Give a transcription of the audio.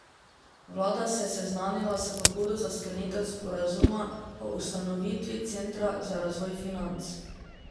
Vlada se je seznanila s pobudo za sklenitev sporazuma o ustanovitvi Centra za razvoj financ.